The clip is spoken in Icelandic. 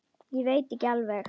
Ég veit ekki alveg.